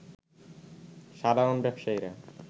সাধারণ ব্যবসায়ীরা